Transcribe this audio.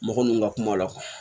Mɔgɔ minnu ka kuma la